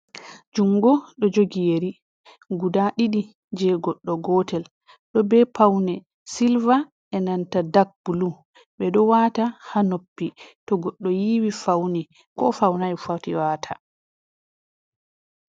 Jungo ɗo jogi yeri guda ɗiɗi je goɗɗo gootel, ɗo be paune silva e nanta dak bulu. Ɓe ɗo wata ha noppi to goɗɗo yiiwi, fauni ko faunai foti wata.